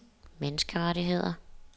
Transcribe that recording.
menneskerettigheder